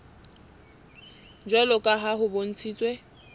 jwalo ka ha ho bontshitswe